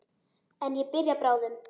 En ég byrja bráðum.